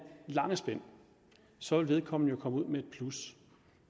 lange spænd og så vil vedkommende jo komme ud med et plus